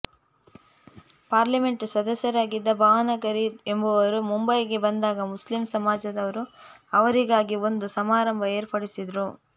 parliament ಸದಸ್ಯರಾಗಿದ್ದ ಭಾವನಗರಿ ಎಂಬುವರು ಮುಂಬಯಿಗೆ ಬಂದಾಗ ಮುಸ್ಲಿಂ ಸಮಾಜದವರು ಅವರಿಗಾಗಿ ಒಂದು ಸಮಾರಂಭ ಏರ್ಪಡಿಸಿದರು